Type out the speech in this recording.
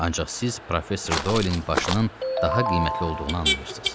Ancaq siz professor Doyelin başının daha qiymətli olduğunu anlayırsız.